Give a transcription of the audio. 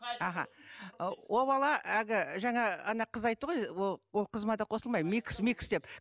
ол бала әлгі жаңа ана қыз айтты ғой ол қызыма да қосылмаймын микс микс деп